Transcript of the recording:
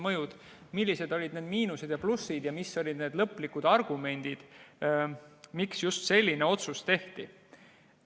millised olid need miinused ja plussid ja mis olid need lõplikud argumendid, miks just selline otsus tehti.